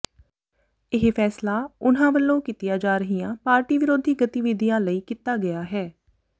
ਇਹ ਫੈਸਲਾ ਉਨ੍ਹਾਂ ਵਲੋਂ ਕੀਤੀਆਂ ਜਾ ਰਹੀਆਂ ਪਾਰਟੀ ਵਿਰੋਧੀ ਗਤੀਵਿਧੀਆਂ ਲਈ ਕੀਤਾ ਗਿਆ ਹੈ